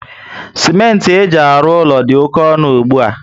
Simenti eji alụ úlọ dị oké ọnụ ugbua